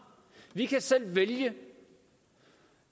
vi kan selv vælge